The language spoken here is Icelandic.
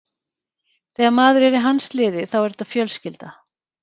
Þegar maður er í hans liði, þá er þetta fjölskylda.